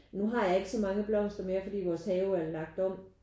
Nu har jeg ikke så mange blomster mere fordi vores have er lagt om